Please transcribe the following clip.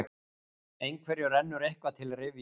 Einhverjum rennur eitthvað til rifja